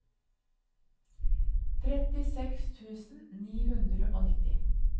trettiseks tusen ni hundre og nitti